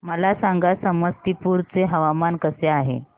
मला सांगा समस्तीपुर चे हवामान कसे आहे